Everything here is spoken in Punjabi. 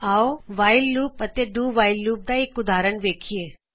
ਆਓਅਸੀ ਵਾਇਲ ਲੂਪ ਅਤੇ do while loop do while loop ਦਾ ਇਕ ਉਦਾਹਰਨ ਵੇਖਿਏ